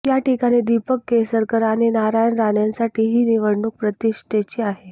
याठिकाणी दीपक केसरकर आणि नारायण राणेंसाठी ही निवडणूक प्रतिष्ठेची आहे